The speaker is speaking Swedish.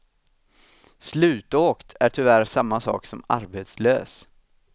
Slutåkt är tyvärr samma sak som arbetslös.